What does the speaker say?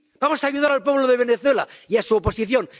¿Vamos a ayudar al pueblo de Venezuela y a su oposición?